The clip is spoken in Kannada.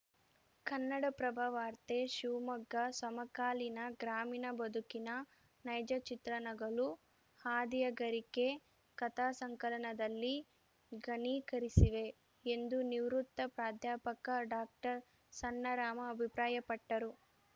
ಕನ್ನಡಪ್ರಭ ವಾರ್ತೆ ಶಿವಮೊಗ್ಗ ಸಮಕಾಲೀನ ಗ್ರಾಮೀಣ ಬದುಕಿನ ನೈಜ ಚಿತ್ರಣಗಳು ಹಾದಿಯ ಗರಿಕೆ ಕಥಾಸಂಕಲನದಲ್ಲಿ ಘನೀಕರಿಸಿವೆ ಎಂದು ನಿವೃತ್ತ ಪ್ರಾಧ್ಯಾಪಕ ಡಾಕ್ಟರ್ ಸಣ್ಣರಾಮ ಅಭಿಪ್ರಾಯಪಟ್ಟರು